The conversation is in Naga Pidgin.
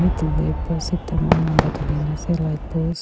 middle tae post ekta eman lamba thalina ase light post .